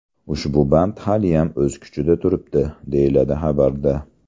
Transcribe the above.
Ushbu band haliyam o‘z kuchida turibdi”, deyiladi xabarda.